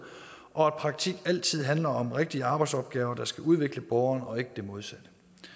og at praktik altid handler om rigtige arbejdsopgaver der skal udvikle borgeren og ikke det modsatte